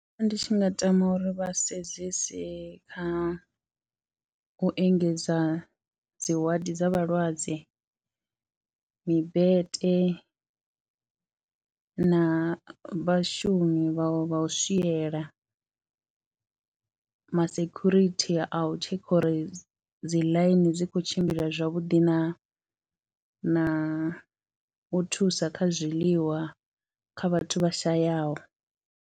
Nṋe ndi tshi nga tama uri vha sedzese kha u engedza dzi waḓi dza vhalwadze, mibete na vhashumi vha vha u swiela, masekhurithi a u tshekha uri dzi ḽaini dzi khou tshimbila zwavhuḓi na u thusa kha zwiḽiwa kha vhathu vha shayaho.